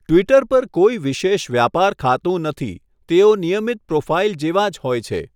Twitter પર કોઈ વિશેષ વ્યાપાર ખાતું નથી. તેઓ નિયમિત પ્રોફાઇલ જેવા જ છે.